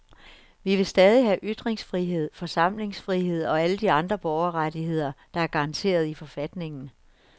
Vi vil stadig have ytringsfrihed, forsamlingsfrihed og alle de andre borgerrettigheder, der er garanteret i forfatningen.